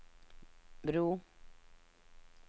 bro